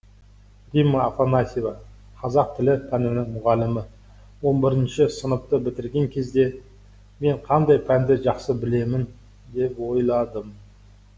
римма афанасьева қазақ тілі пәнінің мұғалімі он бірінші сыныпты бітірген кезде мен қандай пәнді жақсы білемін деп ойладым